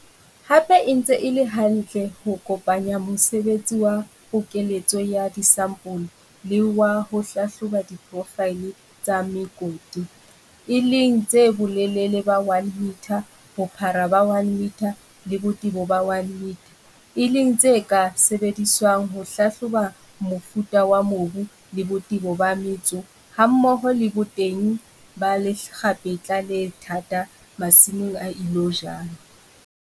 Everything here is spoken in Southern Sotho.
Hape e ntse e le hantle ho kopanya mosebetsi wa pokeletso ya disampole le wa ho hlahloba diprofaele tsa mekoti, e leng tsa bolelele ba 1 metre, bophara ba 1 metre le botebo ba 1 metre, e leng tse ka sebediswang ho hlahloba mofuta wa mobu le botebo ba metso hammoho le boteng ba lekgapetla le thata masimong a ilo jalwa.